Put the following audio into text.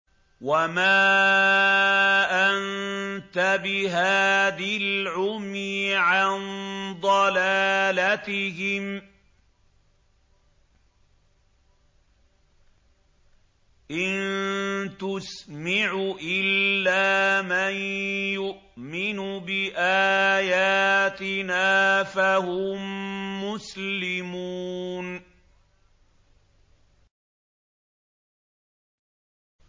وَمَا أَنتَ بِهَادِي الْعُمْيِ عَن ضَلَالَتِهِمْ ۖ إِن تُسْمِعُ إِلَّا مَن يُؤْمِنُ بِآيَاتِنَا فَهُم مُّسْلِمُونَ